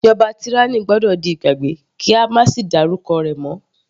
Ìjọba tyranny gbọ́dọ̀ di ìgbàgbé kí á sì máa dárúkọ rẹ̀ mọ́.